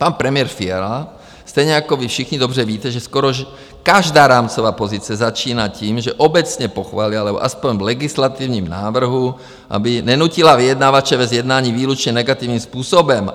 Pan premiér Fiala, stejně jako vy všichni, dobře víte, že skoro každá rámcová pozice začíná tím, že obecně pochválí, ale aspoň v legislativním návrhu, aby nenutila vyjednavače ve sjednání výlučně negativním způsobem.